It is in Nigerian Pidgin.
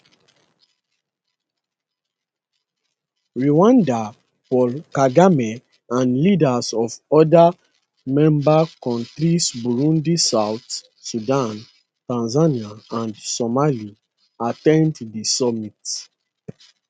rwanda paul kagame and leaders of oda member kontris burundi south sudan tanzania and somalia at ten d di summit